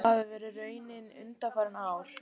Það hafi verið raunin undanfarin ár